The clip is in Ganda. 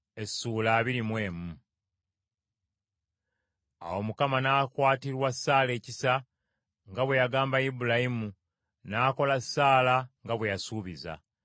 Awo Mukama n’akwatirwa Saala ekisa nga bwe yagamba Ibulayimu, era n’akolera Saala kye yasuubiza.